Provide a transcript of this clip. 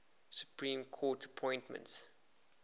supreme court appointments